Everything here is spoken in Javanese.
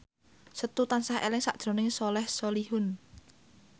Setu tansah eling sakjroning Soleh Solihun